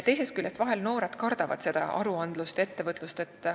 Teisest küljest, noored vahel kardavad aruandlust ja ettevõtlust.